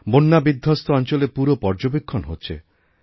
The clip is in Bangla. বন্যাবিধ্বস্ত অঞ্চলেরপুরো পর্যবেক্ষণ হচ্ছে